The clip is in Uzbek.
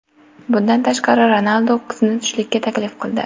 Bundan tashqari, Ronaldu qizni tushlikka taklif qildi.